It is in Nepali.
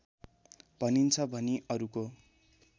भनिन्छ भनि अरूको